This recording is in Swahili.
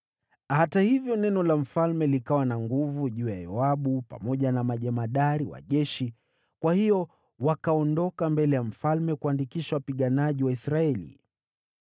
Hata hivyo, neno la mfalme likawa na nguvu juu ya Yoabu pamoja na majemadari wa jeshi, kwa hiyo wakaondoka mbele ya mfalme kuandikisha wapiganaji wa Israeli.